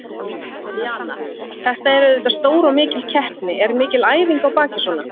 Jana, þetta er auðvitað stór og mikil keppni, er mikil æfing á baki svona?